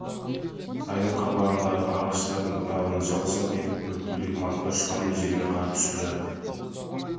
сайдың қабағындағы ағаштардың бұтағынан жалп-жалп етіп үлпілдек мақта ұшқандай жерге қар түсіп жатыр